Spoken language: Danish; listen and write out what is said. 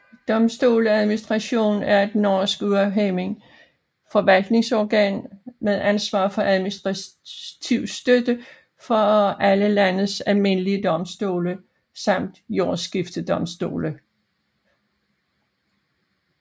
Domstoladministrationen er et norsk uafhængig forvaltningsorgan med ansvar for administrativ støtte for alle landets almindelige domstole samt jordskiftedomstolene